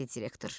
dedi direktor.